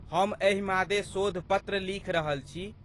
हम एहि मादे शोध पत्र लिखि रहल छी।